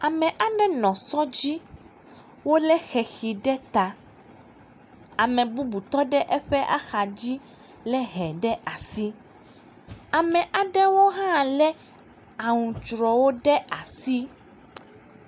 Ame aɖe nɔ sɔ dzi. Wòle xexi ɖe ta. Ame bubu tɔ ɖe eƒe axa dzi le hɛ ɖe asi. Ame aɖewo hã le aŋutsrɛwo ɖe asi.